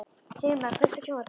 Sigmar, kveiktu á sjónvarpinu.